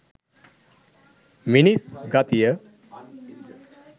"මිනිස් ගතිය".